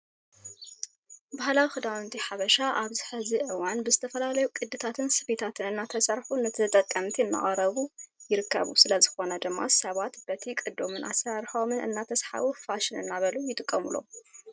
ባህላዊ ክዳውንቲ ሓበሻ ኣብዚ ሕዚ እዋን ብዝተፈላለዩ ቅድታትን ስፌታትን እናተሰርሑ ንተጠቀምቲ እናቀረቡ ይርከቡ። ስለዝኾነ ድማ ሰባት በቲ ቅዶምን ኣሰራርሓኦም እናተስሓቡ ፋሽን እናበሉ ይጥቀምሎም።